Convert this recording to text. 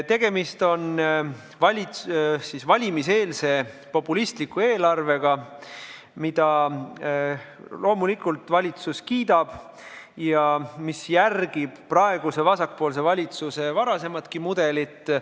Tegemist on valimiseelse populistliku eelarvega, mida loomulikult valitsus kiidab ja mis järgib praeguse vasakpoolse valitsuse varasematki mudelit.